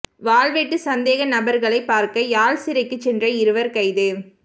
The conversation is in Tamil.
வாள்வெட்டு சந்தேக நபர்களைப் பார்க்க யாழ் சிறைக்குச் சென்ற இருவர் கைது